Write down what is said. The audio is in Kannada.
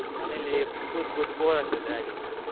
ಮನೆಯಲ್ಲಿ ಕೂತ್ ಕೂತ್ bore ಆಗ್ತದೆ ಹಾಗೆ.